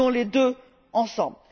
Nous voulons les deux ensemble.